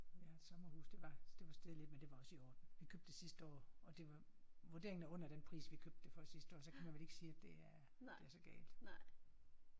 Vi har et sommerhus det var det var steget lidt men det var også i orden. Vi købte det sidste år og det var vurderingen er under den pris vi købte det for sidste år så kan man vel ikke sige at det er det er så galt